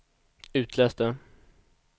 itläs det